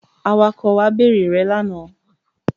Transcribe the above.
Awakọ̀ wa bèrè rẹ lánàá.